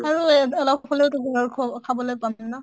আৰু এহ অলপ হʼলেওতো ভাল খোৱা খাবলৈ পাম না